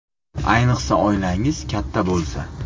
Ayniqsa, oilangiz katta bo‘lsa.